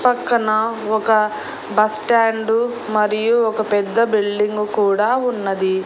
పక్కన ఒక బస్టాండు మరియు ఒక పెద్ద బిల్డింగు కూడా ఉన్నది.